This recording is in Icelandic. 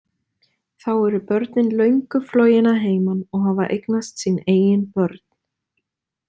Þá eru börnin löngu flogin að heiman og hafa eignast sín eigin börn.